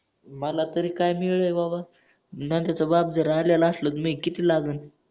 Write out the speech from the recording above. मला तरी काय मिळेल रे बाबा मला त्याच व्याप जर आलेल असलेल त मी किती लाजून.